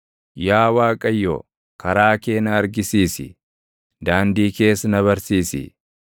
Yaa Waaqayyo, karaa kee na argisiisi; daandii kees na barsiisi;